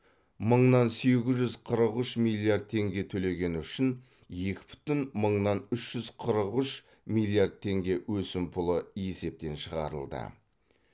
мыңнан сегіз жүз қырық үш миллиард теңге төлегені үшін екі бүтін мыңнан үш жүз қырық үш миллиард теңге өсімпұлы есептен шығарылды